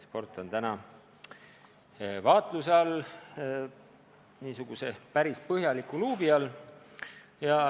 Sport on täna vaatluse all, niisuguse päris põhjaliku luubi all.